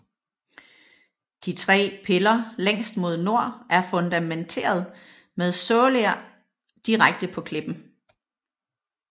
De tre piller længst mod nord er fundamenteret med såler direkte på klippen